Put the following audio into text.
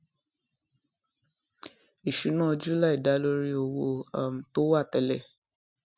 ìṣúná july da lórí owó um tó wà télè